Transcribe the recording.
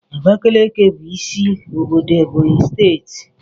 Abakaliki bu isi obodo Ebonyi Steeti